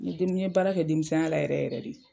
N ɲe den, n ɲe baara kɛ denmisɛn ya la yɛrɛ yɛrɛ de.